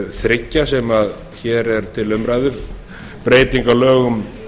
þriggja sem hér eru til umræðu breyting á lögum